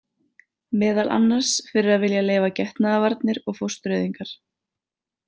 Meðal annars fyrir að vilja leyfa getnaðarvarnir og fóstureyðingar.